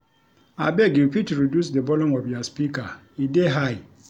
Abeg you fit reduce di volume of your speaker, e dey high.